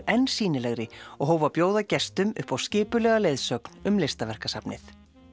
enn sýnilegri og hóf að bjóða gestum upp á skipulagða leiðsögn um listaverkasafnið